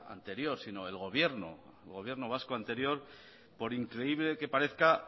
anterior sino el gobierno vasco anterior por increíble que parezca